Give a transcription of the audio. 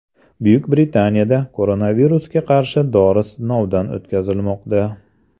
Buyuk Britaniyada koronavirusga qarshi dori sinovdan o‘tkazilmoqda.